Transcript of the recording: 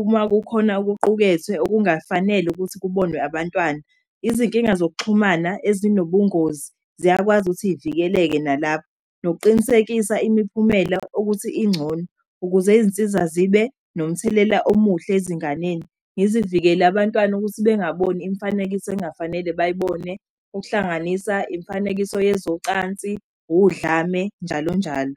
uma kukhona ukuqukethwe okungafanele ukuthi kubonwe abantwana. Izinkinga zokuxhumana ezinobungozi ziyakwazi ukuthi iy'vikeleke nalapha. Nokuqinisekisa imiphumela okuthi ingcono, ukuze izinsiza zibe nomthelela omuhle ezinganeni. Ngizivikele abantwana ukuthi bengaboni imifanekiso ey'ngafanele bayibone, ukuhlanganisa imifanekiso yezocansi, udlame, njalo njalo.